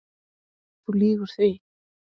Þú lýgur því